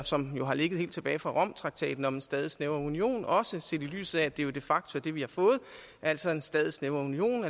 som har ligget helt tilbage fra romtraktaten om en stadig snævrere union også set i lyset af at det jo de facto er det vi har fået altså en stadig snævrere union og